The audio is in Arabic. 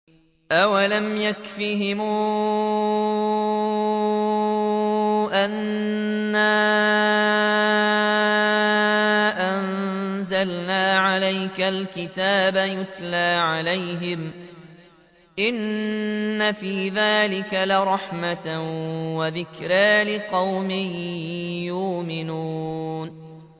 أَوَلَمْ يَكْفِهِمْ أَنَّا أَنزَلْنَا عَلَيْكَ الْكِتَابَ يُتْلَىٰ عَلَيْهِمْ ۚ إِنَّ فِي ذَٰلِكَ لَرَحْمَةً وَذِكْرَىٰ لِقَوْمٍ يُؤْمِنُونَ